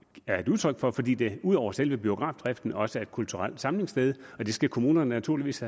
har fordi de ud over selve biografdriften også er et kulturelt samlingssted det skal kommunerne naturligvis